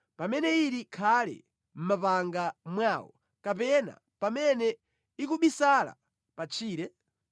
pamene ili khale mʼmapanga mwawo kapena pamene ikubisala pa tchire?